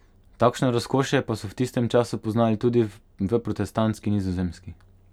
Takšno razkošje pa so v tistem času poznali tudi v protestantski Nizozemski.